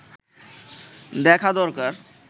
দেখা দরকার